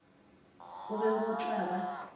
go be go tla ba